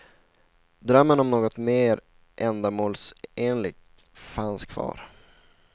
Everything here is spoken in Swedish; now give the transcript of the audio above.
Drömmen om något mer ändamålsenligt fanns kvar.